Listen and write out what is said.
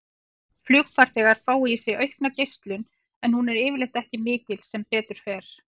Flugfarþegar fá í sig aukna geislun en hún er yfirleitt ekki mikil, sem betur fer.